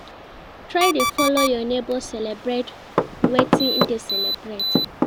Try de follow your neighbors celebrate wetin in de celebrate